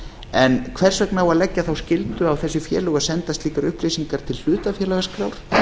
en hvers vegna á að leggja þá skyldu á þessi félög að senda slíkar upplýsingar til hlutafélagaskrár